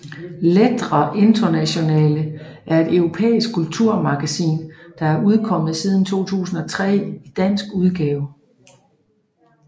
Lettre Internationale er et europæisk kulturmagasin der har udkommet siden 2003 i dansk udgave